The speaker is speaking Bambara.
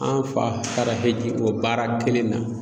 An fa taara hiji k'o baara kelen na